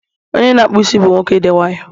onye na-akpụ isi bụ nwoke dị nwayọọ